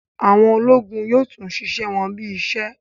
Àwọn ológun yóò tún ṣiṣẹ wọn bí í ṣe